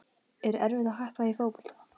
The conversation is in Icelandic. Er erfitt að hætta í fótbolta?